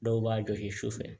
Dɔw b'a jɔ kɛ sufɛ